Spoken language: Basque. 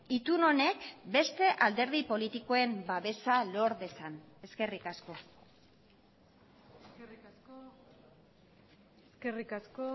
itun honek beste alderdi politikoen babesa lor dezan eskerrik asko eskerrik asko